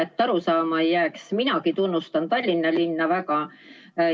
Et valet arusaama ei jääks: minagi tunnustan Tallinna linna väga.